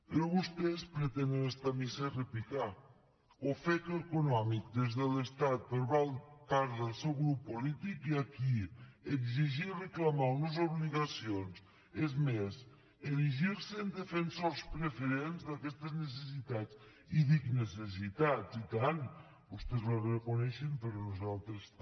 però vostès pretenen estar a missa i repicar ofec econòmic des de l’estat per part del seu grup polític i aquí exigir i reclamar unes obligacions és més erigir se en defensors preferents d’aquestes necessitats i dic necessitats i tant vostès ho reconeixen però nosaltres també